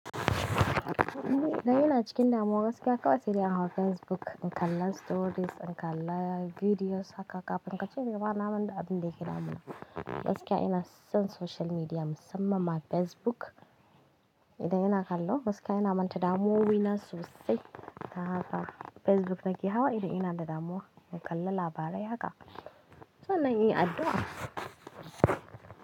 Da ina cikin damuwa gaskiya kawai sai in hau Facebook in kalla stories, in kalla videos haka kafin ka ce me ba na manta abinda abin da yake damuna. Gaskiya ina son social media musamman ma Facebook. Idan ina kallo gaskiya yana manta damuwowi na sosai. Haka Facebook nake hawa idan ina da damuwa in kalla labarai haka. So na yi addu'a.